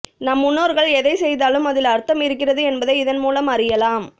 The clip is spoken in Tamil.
நம் முன்னோர்கள் எதை செய்தாலும் அதில் அர்த்தம் இருக்கிறது என்பதை இதன் மூலம் அறியலாம்